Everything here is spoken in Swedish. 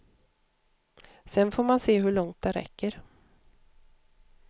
Sen får man se hur långt det räcker.